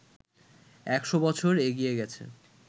একশ বছর এগিয়ে গেছে